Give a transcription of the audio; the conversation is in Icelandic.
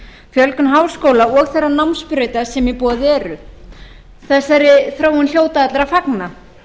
fjölgun háskóla og þeirra námsbrauta sem í boði eru þessari þróun hljóta allir að fagna